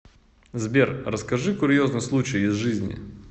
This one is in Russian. сбер расскажи курьезный случай из жизни